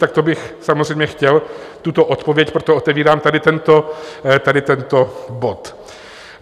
Tak to bych samozřejmě chtěl tuto odpověď, proto otvírám tady tento bod.